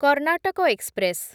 Karnataka express